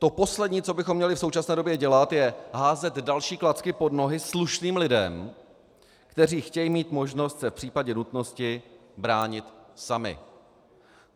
To poslední, co bychom měli v současné době dělat, je házet další klacky pod nohy slušným lidem, kteří chtějí mít možnost se v případě nutnosti bránit sami.